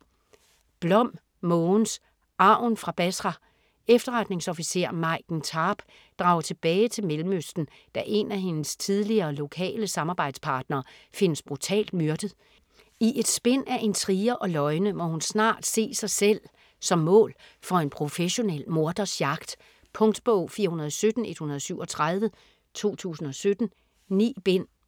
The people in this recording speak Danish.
Blom, Mogens: Arven fra Basra Efterretningsofficer, Maiken Tarp, drager tilbage til Mellemøsten da en af hendes tidligere lokale samarbejdspartnere findes brutalt myrdet. I et spind af intriger og løgne må hun snart se sig selv som mål for en professionel morders jagt. Punktbog 417137 2017. 9 bind.